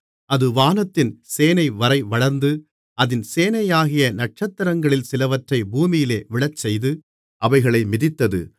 அது வானத்தின் சேனைவரை வளர்ந்து அதின் சேனையாகிய நட்சத்திரங்களில் சிலவற்றை பூமியிலே விழச்செய்து அவைகளை மிதித்தது